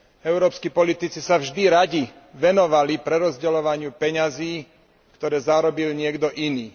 Európski politici sa vždy radi venovali prerozdeľovaniu peňazí, ktoré zarobil niekto iný.